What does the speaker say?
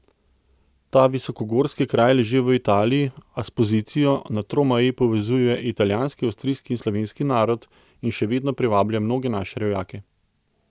Ta visokogorski kraj leži v Italiji, a s pozicijo na tromeji povezuje italijanski, avstrijski in slovenski narod, in še vedno privablja mnoge naše rojake.